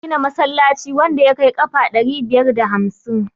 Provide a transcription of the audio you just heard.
za a gina masallaci wanda ya kai kafa ɗari biyar da hamsin